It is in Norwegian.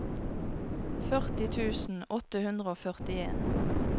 førti tusen åtte hundre og førtien